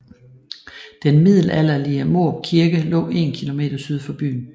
Den middelalderlige Mårup Kirke lå 1 km syd for byen